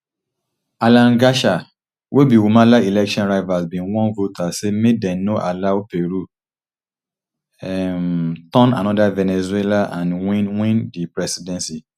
alan garca wey be humala election rivals bin warn voters say make dem no allow peru um turn anoda venezuela and win win di presidency